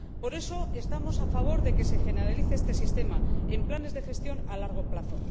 Por eso, estamos a favor de que se generalice este sistema de planes de gestión a largo plazo.